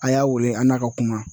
A y'a weele an n'a ka kuma.